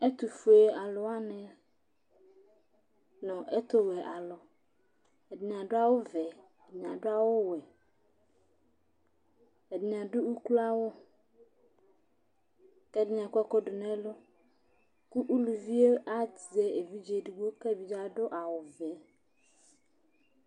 Ɛtʋfuealʋ wanɩ nʋ ɛtʋwɛ alʋ Ɛdɩnɩ adʋ awʋvɛ, ɛdɩnɩ adʋ awʋwɛ, ɛdɩnɩ adʋ ukloawʋ kʋ ɛdɩnɩ akɔ ɛkʋ dʋ nʋ ɛlʋ kʋ uluvi yɛ azɛ evidze edigbo kʋ evidze yɛ adʋ awʋvɛ